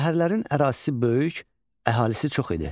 Şəhərlərin ərazisi böyük, əhalisi çox idi.